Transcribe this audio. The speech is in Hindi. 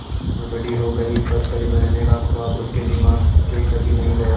मीनू बड़ी हो गई पर परी बनने का ख्वाब उसके दिमाग से कभी नहीं गया